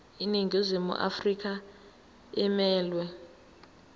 iningizimu afrika emelwe